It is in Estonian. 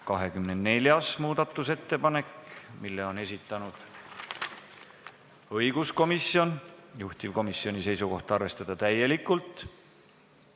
24. muudatusettepaneku on esitanud õiguskomisjon, juhtivkomisjoni seisukoht: arvestada seda täielikult.